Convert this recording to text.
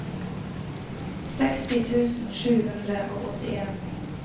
seksti tusen sju hundre og åttien